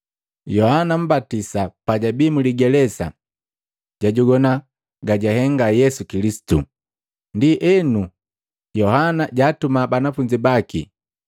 Yohana Mmbatisa pajabii mligelesa jwajogwana gajuhenga Yesu Kilisitu. Ndienu, Yohana jaatuma banafunzi baki,